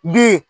Bi